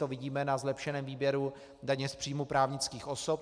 To vidíme na zlepšeném výběru daně z příjmů právnických osob.